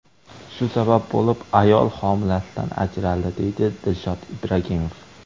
Shu sabab bo‘lib ayol homilasidan ajraldi”, deydi Dilshod Ibragimov.